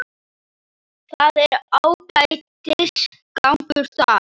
Það er ágætis gangur þar.